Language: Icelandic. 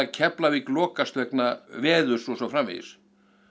Keflavík lokast vegna veðurs og svo framvegis